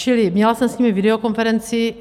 Čili měla jsem s nimi videokonferenci.